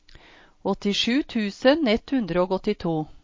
åttisju tusen ett hundre og åttito